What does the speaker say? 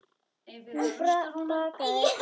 Hún bakkaði frá honum.